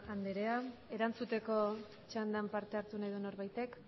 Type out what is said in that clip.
andrea erantzuteko txandan parte hartu nahi du norbaitek